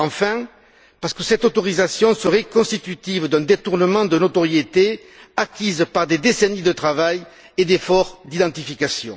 Enfin, parce que cette autorisation serait constitutive d'un détournement de notoriété acquise par des décennies de travail et d'efforts d'identification.